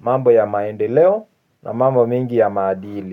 mambo ya maendeleo na mambo mingi ya maadili.